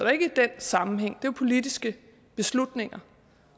er ikke den sammenhæng det er jo politiske beslutninger